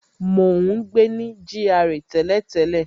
Mo ń gbé ní GRA tẹ́lẹ̀tẹ́lẹ̀